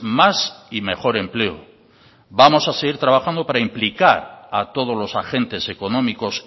más y mejor empleo vamos a seguir trabajando para implicar a todos los agentes económicos